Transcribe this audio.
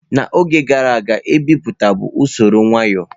N'oge gara aga ebipụta bụ usoro nwayo.